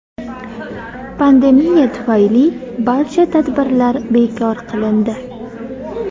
Pandemiya tufayli barcha tadbirlar bekor qilindi.